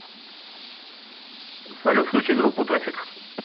салют включи группу траффик